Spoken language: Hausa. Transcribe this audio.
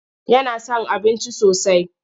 Yana son abinci sosai.